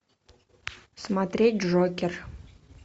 смотреть джокер